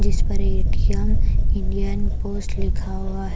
जिस पर ATM Indian post लिखा हुआ है ।